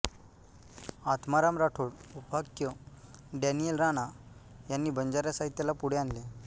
आत्माराम राठोड उपाख्य डॅनियल राणा यांनी बंजारा साहित्याला पुढे आणले